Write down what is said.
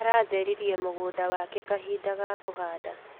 Aratheririe mũgũnda wake kahinda ga kũhanda.